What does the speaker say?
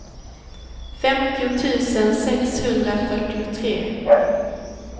femtio tusen sexhundrafyrtiotre